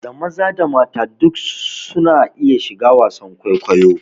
Da maza da mata duk su na iya shiga wasan kwaikwayo